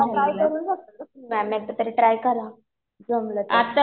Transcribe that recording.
आता ट्राय करू शकता मॅम एकदा तरी ट्राय करा. जमलं तर.